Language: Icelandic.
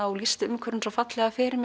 og lýsti umhverfinu svo fallega fyrir